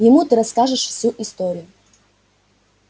ему ты расскажешь всю историю